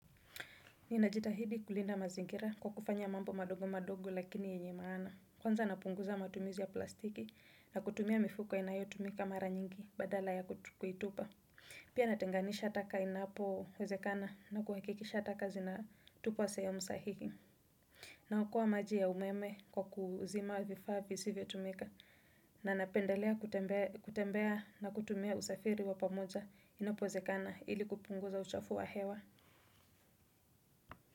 Ninajitahidi kulinda mazingira kwa kufanya mambo madogo madogo lakini yenye maana. Kwanza napunguza matumizi ya plastiki na kutumia mifuko inayotumika mara nyingi badala ya kuitupa. Pia natenganisha taka inapo wezekana na kuhakikisha taka zinatupwa sehemu sahihi. Na okoa maji ya umeme kwa kuzima vifaa visivyo tumika na napendelea kutembea na kutumia usafiri wapamoja inapowezekana ili kupunguza uchafu wa hewa.